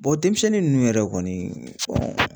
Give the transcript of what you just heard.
denmisɛnnin ninnu yɛrɛ kɔni